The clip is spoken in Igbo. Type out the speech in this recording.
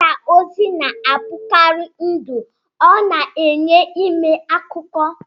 Mgbasa ozi na-abụkarị ndụ, ọ na-enye ime akụkọ.